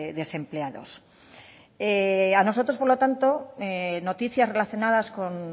desempleados a nosotros por lo tanto noticias relacionadas con